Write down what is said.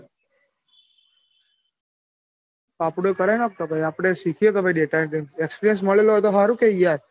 આપડુંય કરાય નોખ કે આપડેય શીખીએ ભાઈ data entry experience મળેલો હોય તો સારું કે યાર.